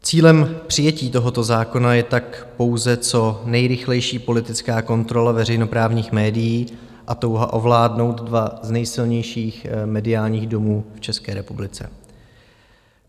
Cílem přijetí tohoto zákona je tak pouze co nejrychlejší politická kontrola veřejnoprávních médií a touha ovládnout dva z nejsilnějších mediálních domů v České republice.